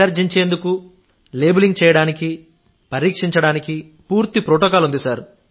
విసర్జించేందుకు labelling చేయడానికి పరీక్షించడానికి పూర్తి ప్రోటోకాల్ ఉంది